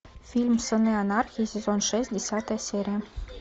фильм сыны анархии сезон шесть десятая серия